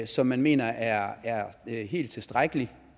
som man mener er helt tilstrækkelig